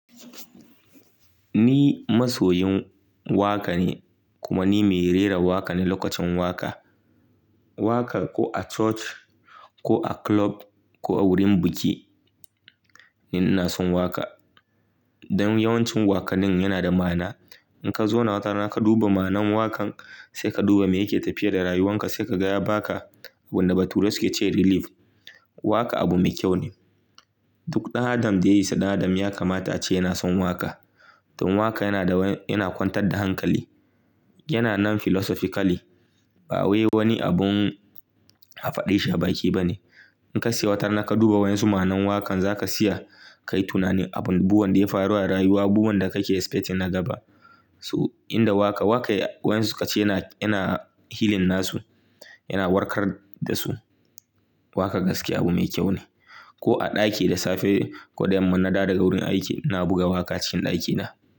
Ni masoyin waƙa ne kuma ni mai rera waƙa ne. Lokacin waƙa, waƙa ko a church ko a club ko a wurin biki, ni ina son waƙa. Dan yawancin wakanin yana da ma'ana. In ka zo na wata rana ka duba ma'anan waƙan sai ka duba me yake tafiya da rayuwanka sai ka ga ya baka wanda baturai suke cewa relief. Waƙa abu mai kyau ne. Duk ɗan Adam da ya yi saddaɗa ya kamata ace yana son waƙa. Tun waƙa yana da waya, yana kwantar da hankali, yana nan philosophically ba wai wani abun a faɗe shi a baki ba ne. In ka saya wata rana ka duba waɗansu ma'anan waƙan za ka siya kayi tunani abun, buwan da ya faru a rayuwa, buwan da kake expecting na gaba. To, inda waƙa, waƙa yawancin su ka ce yana, yana healing na su, yana warkar da su. Waƙa gaskiya abu mai kyau ne. Ko a ɗaki da safe ko da mun dawo daga wurin aiki na buga waƙa a cikin ɗakina.